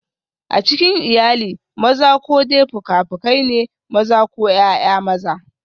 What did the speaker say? A cikin iyali, maza ko dai fuka-fukai ne, maza ko ’ya’ya maza.